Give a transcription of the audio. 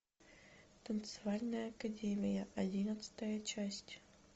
танцевальная академия одиннадцатая часть